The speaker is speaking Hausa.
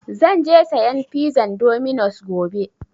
Zan je sayan pizan dominus gobe.